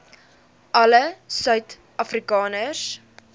alle suid afrikaners